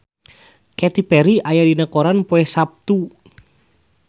Katy Perry aya dina koran poe Saptu